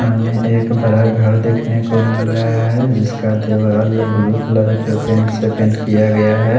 सामने एक बड़ा घर देखने को मिल रहा है जिसका दीवार ब्लू कलर के पेंट से पेंट किया गया है।